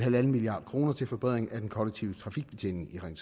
en milliard kroner til forbedring af den kollektive trafikbetjening i ring